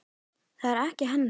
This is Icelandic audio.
Það er ekki hennar stíll.